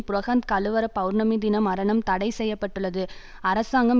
புரஹந்த கலுவர பெளர்ணமி தின மரணம் தடை செய்ய பட்டுள்ளது அரசாங்கம்